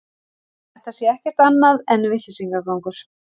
Þetta sé ekkert annað en vitleysisgangur